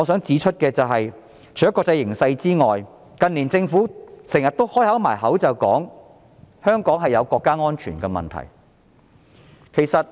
此外，除了國際形勢以外，近年政府經常掛在嘴邊的是，香港存在國家安全問題。